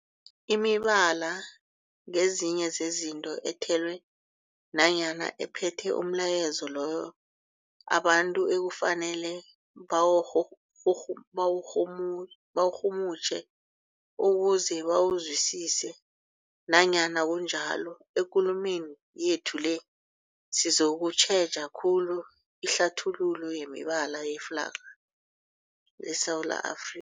Imibala ngezinye zezinto ethelwe nanyana ephethe umlayezo loyo abantu ekufanele bawurhuhuhum bawurhumut bawurhumutjhe ukuze bawuzwisise. Nanyana kunjalo, ekulumeni yethu le sizokutjheja khulu ihlathululo yemibala yeflarha yeSewula Afri